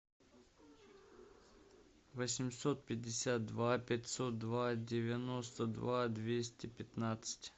восемьсот пятьдесят два пятьсот два девяносто два двести пятнадцать